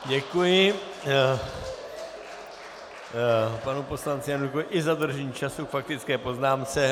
Děkuji panu poslanci Janulíkovi i za dodržení času k faktické poznámce.